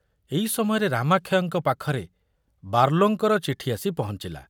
ଏଇ ସମୟରେ ରାମାକ୍ଷୟଙ୍କ ପାଖରେ ବାର୍ଲୋଙ୍କର ଚିଠି ଆସି ପହଞ୍ଚିଲା।